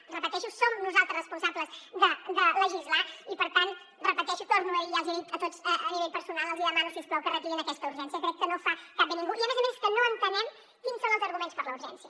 ho repeteixo som nosaltres responsables de legislar i per tant ho repeteixo ho torno a dir ja els ho he dit a tots a nivell personal els demano si us plau que retirin aquesta urgència crec que no fa cap bé a ningú i a més a més és que no entenem quins són els arguments per a la urgència